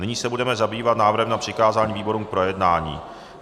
Nyní se budeme zabývat návrhem na přikázání výborům k projednání.